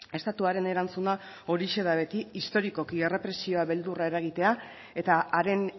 estatuaren erantzuna horixe da beti historikoki errepresioa beldurra eragitea eta haren